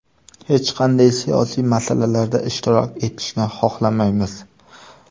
Hech qanday siyosiy masalalarda ishtirok etishni xohlamaymiz.